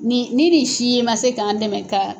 Mɛ ni nin si ma se k'an dɛmɛ.